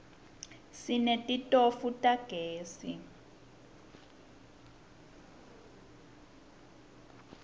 sinetitofu tagezi